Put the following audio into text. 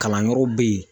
Kalanyɔrɔ bɛ yen